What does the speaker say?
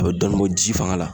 A be dɔɔnin bɔ ji fanga la